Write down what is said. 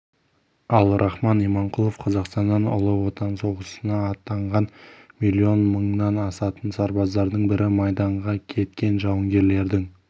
ал рахман иманқұлов қазақстаннан ұлы отан соғысына аттанған миллион мыңнан асатын сарбаздың бірі майданға кеткен жауынгерлердің